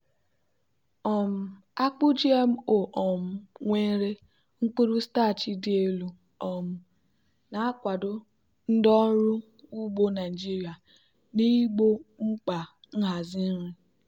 um akpu gmo um nwere mkpụrụ starch dị elu um na-akwado ndị ọrụ ugbo naijiria n'igbo mkpa nhazi nri.